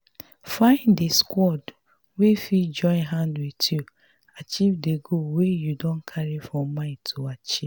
find di squad wey fit join hand with you achive di goal wey you don carry for mind to achieve